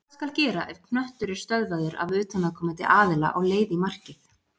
Hvað skal gera ef knöttur er stöðvaður af utanaðkomandi aðila á leið í markið?